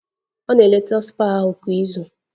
Ọ na-eleta spa ahụ kwa izu